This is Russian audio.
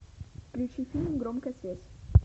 включи фильм громкая связь